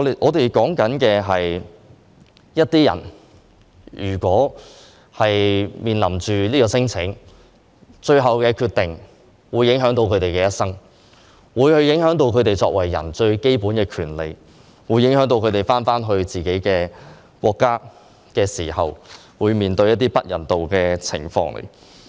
在一些人提出免遣返聲請後，最後的決定會影響到他們的人生，會影響到他們作為人最基本的權利，會影響到他們返回自己的國家時，會面對一些不人道的情況。